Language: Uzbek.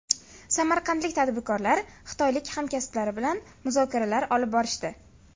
Samarqandlik tadbirkorlar xitoylik hamkasblari bilan muzokaralar olib borishdi.